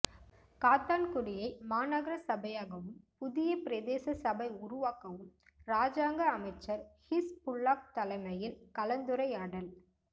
காத்தான்குடியை மாநகர சபையாகவும் புதிய பிரதேச சபை உருவாக்கவும் இராஜாங்க அமைச்சர் ஹிஸ்புல்லாஹ் தலைமையில் கலந்துரையாடல்